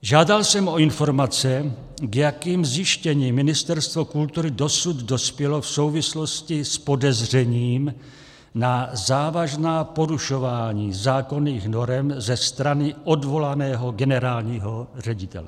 Žádal jsem o informace, k jakým zjištěním Ministerstvo kultury dosud dospělo v souvislosti s podezřením na závažná porušování zákonných norem ze strany odvolaného generálního ředitele.